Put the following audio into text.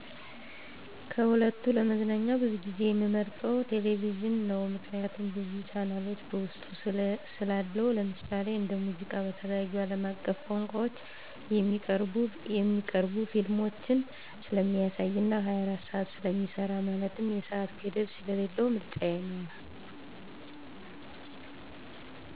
ከሁለቱ ለመዝናኛ ብዙ ጊዜየምመርጠዉ ቴሌቪዥን ነዉ ምክንያቱም ብዙ ቻናሎች በዉስጡ ስላለዉነዉ ለምሳሌ:-እንደ ሙዚቃ፣ በተለያዩ አለም አቀፍ ቋንቋዎች የሚቀርቡ ፊልሞችን ስለሚያሳይ እና 24 ሰዓት ስለሚሰራ ማለትም የሰአት ገደብ ስለሌለዉ ምርጫየ ነዉ።